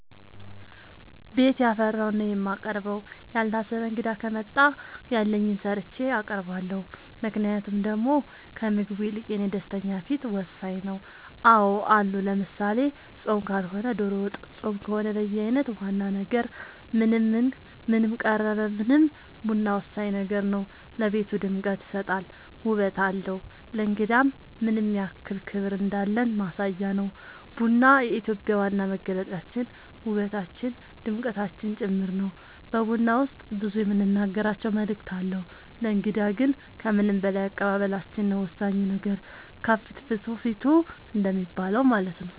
ቤት ያፈራውን ነው የማቀርበው ያልታሰበ እንግዳ ከመጣ ያለኝን ሰርቼ አቀርባለሁ ምክንያቱም ደሞ ከምግቡ ይልቅ የኔ ደስተኛ ፊት ወሳኝ ነው አዎ አሉ ለምሳሌ ፆም ካልሆነ ዶሮ ወጥ ፆም ከሆነ በየአይነት ዋና ነገር ምንም ቀረበ ምንም ቡና ወሳኝ ነገር ነው ለቤቱ ድምቀት ይሰጣል ውበት አለው ለእንግዳም ምንያክል ክብር እንዳለን ማሳያ ነው ቡና የኢትዮጵያ ዋና መገለጫችን ውበታችን ድምቀታችን ጭምር ነው በቡና ውስጥ ብዙ የምንናገራቸው መልዕክት አለው ለእንግዳ ግን ከምንም በላይ አቀባበላችን ነው ወሳኙ ነገር ከፍትፍቱ ፊቱ እንደሚባለው ማለት ነው